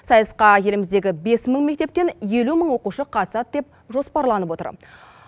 сайысқа еліміздегі бес мың мектептен елу мың оқушы қатысады деп жоспарланып отыр